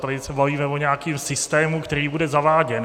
Tady se bavíme o nějakém systému, který bude zaváděn.